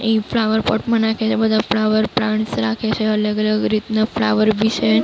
એ flower pot માં નાખે છે. બધા ફ્લાવર પ્લાન્ટ્સ રાખે છે. અલગ-અલગ રીતના ફ્લાવર બી છે.